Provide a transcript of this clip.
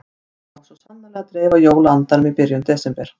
Svona á svo sannarlega að dreifa jóla-andanum í byrjun desember.